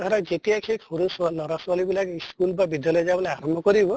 ধৰা যেতিয়া যেই সৰু ছোৱা লʼৰা ছোৱালী বিলাক school বা বিদ্য়ালয় যাবলৈ আৰম্ভ কৰিব